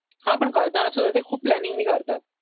हा पण करताना सुद्धा ते खूप प्लॅनिंग ने करतात